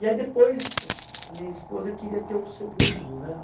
E aí depois, minha esposa queria ter um segundo, né?